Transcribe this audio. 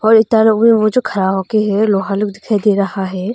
और इतना लोग वो जो खड़ा होके है लोहा लोग दिखाई दे रहा है।